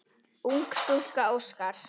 Ung stúlka óskar.